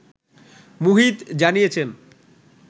মুহিত জানিয়েছেন